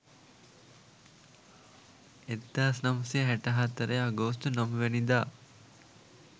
1964 අගෝස්තු 9 වැනිදා.